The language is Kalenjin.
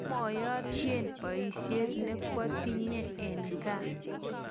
komuayutyen boisiet ne koatinye eng' gaa